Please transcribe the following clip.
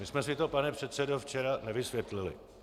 My jsme si to, pane předsedo, včera nevysvětlili.